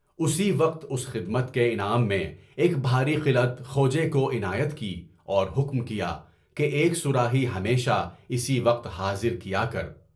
اُسی وقت اُس خدمت کے انعام میں ایک بھاری خلعت خوج کو عنایت کی اور حکم کیا کہ ایک صراحی ہمیشہ اسی وقت حاضر کیا کر۔